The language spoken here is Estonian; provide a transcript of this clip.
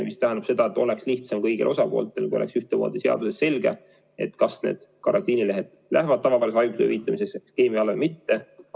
See tähendab seda, et oleks lihtsam kõigil osapooltel, kui oleks ühtemoodi seaduses selge, kas karantiinilehed lähevad tavaliste haiguslehtede hüvitamise süsteemi alla või mitte.